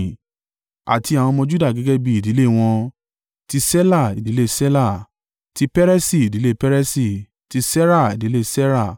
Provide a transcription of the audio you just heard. Àti àwọn ọmọ Juda gẹ́gẹ́ bí ìdílé wọn: ti Ṣela, ìdílé Ṣela; ti Peresi, ìdílé Peresi; ti Sera, ìdílé Sera.